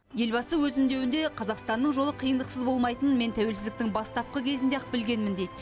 елбасы өз үндеуінде қазақстанның жолы қиындықсыз болмайтынын мен тәуелсіздіктің бастапқы кезінде ақ білгенмін дейді